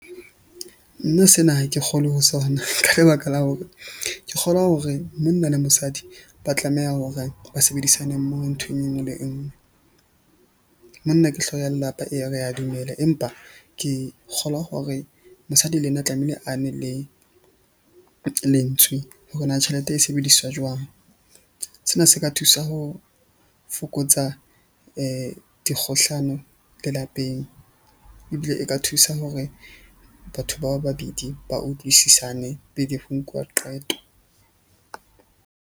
Nna sena ha ke kgolwe ho sona ka lebaka la hore ke kgolwa hore monna le mosadi, ba tlameha hore ba sebedisane mmoho ntho e nngwe le e nngwe. Monna ke hlooho ya lelapa eya, re ya dumela, empa ke kgolwa hore mosadi le yena tlamehile a ne le lentswe hore na tjhelete e sebediswa jwang. Sena se ka thusa ho fokotsa dikgohlano lelapeng. Ebile e ka thusa hore batho ba babedi ba utlwisisane pele ho nkuwa qeto.